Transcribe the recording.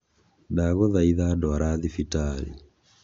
Ndagũthaitha ndwara thibitarĩ.